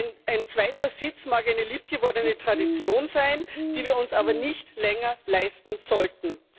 Ein zweiter Sitz mag eine lieb gewordene Tradition sein, die wir uns aber nicht länger leisten sollten.